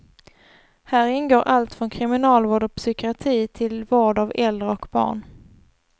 Här ingår allt från kriminalvård och psykiatri till vård av äldre och barn.